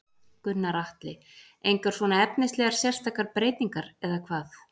Gunnar Atli: Engar svona efnislegar sérstakar breytingar eða hvað?